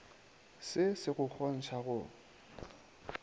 se se go kgontšha go